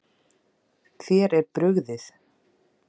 Þér er brugðið.